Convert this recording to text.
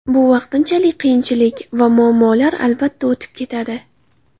Bu vaqtinchalik qiyinchilik va muammolar, albatta, o‘tib ketadi.